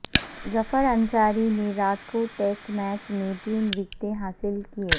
ظفر انصاری نے Rajkot test match میں تین وکٹیں حاصل کیں